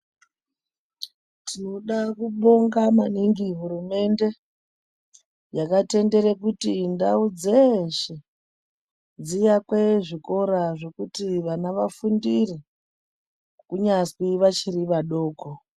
Tinoda kubonga maningi hurumende, yakatendere kuti ndau dzeeshe, dziakwe zvikora zvekuti vana vafundire, kunyazwi vachiri vadoko.